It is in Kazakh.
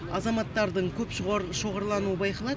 азаматтардың көп шоғырлануы байқалады